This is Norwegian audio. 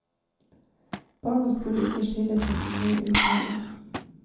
Barna skulle ikke skille seg for mye ut heller.